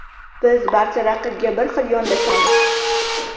Biz barcha raqibga bir xil yondoshamiz.